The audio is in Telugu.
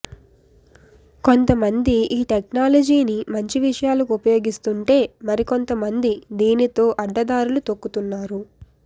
కొంత మంది ఈ టెక్నాలజీని మంచి విషయాలకు ఉపయోగిస్తుంటే మరికొంతమంది దీనితో అడ్డదారులు తొక్కుతున్నారు